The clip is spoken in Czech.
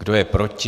Kdo je proti?